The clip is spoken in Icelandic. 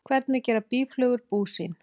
Hvernig gera býflugur bú sín?